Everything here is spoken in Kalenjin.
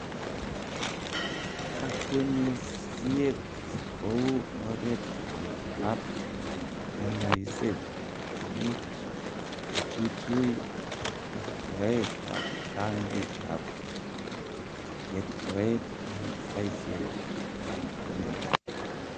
Kakwenyisiet kou oret age ab kanyaiset komuch kochuchui kertoet ab rangik ak kertoet eng saisiek ab kemboi.